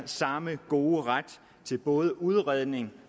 samme gode ret til både udredning